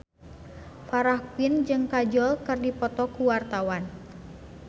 Farah Quinn jeung Kajol keur dipoto ku wartawan